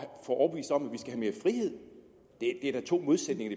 få overbevist om at mere frihed det er da to modsætninger